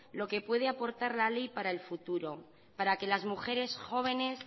lo que puede aportar la ley para el futuro para que las mujeres jóvenes